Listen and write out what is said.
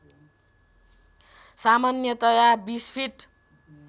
सामान्यतया २० फिट